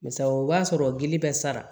Misali o b'a sɔrɔ gili bɛ sara